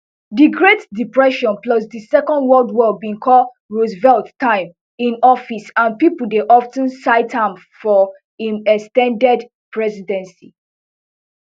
di great depression plus di second world war bin call roosevelt time in office and pipo dey of ten cite am for im ex ten ded presidency